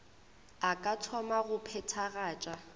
a ka thoma go phethagatša